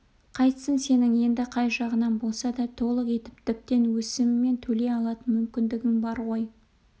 қайтсін сенің енді қай жағынан болса да толық етіп тіптен өсімімен төлей алатын мүмкіндігің бар ғой